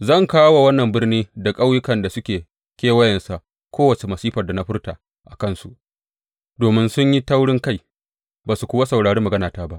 Zan kawo wa wannan birni da ƙauyukan da suke kewayensa kowace masifar da na furta a kansu, domin sun yi taurinkai, ba su kuwa saurari maganata ba.